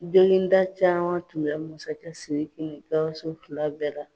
jonginda caman tun bɛɛ masakɛ sidiki ni gawusu fila bɛɛ la